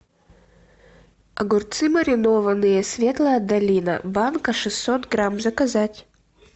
огурцы маринованные светлая долина банка шестьсот грамм заказать